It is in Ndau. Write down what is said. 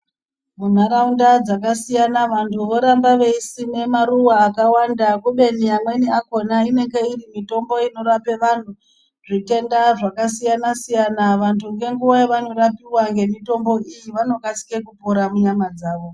Munharaunda dzakasiyana vantu voramba veisima maruwa akawanda kubeni amweni akona inenge iri mitombo inorapa antu zvitenda zvakasiyana siyana vantu ngenguwa yavanenge vapiwa mitombo iyi vanokasika kupora munyama dzawo.